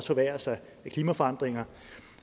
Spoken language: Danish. forværres af klimaforandringer